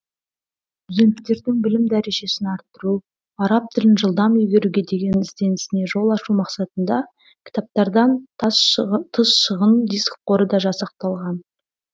студенттердің білім дәрежесін арттыру араб тілін жылдам игеруге деген ізденісіне жол ашу мақсатында кітаптардан тыс шағын диск қоры да жасақталған